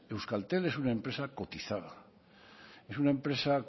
euskaltel es una empresa cotizada es una empresa